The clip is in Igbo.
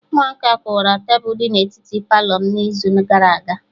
Ụmụaka kụwara tebụl dị na etiti Palọ m n'izu gara aga